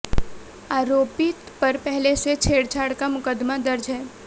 आरोपित पर पहले से छेड़छाड़ का मुकदमा दर्ज है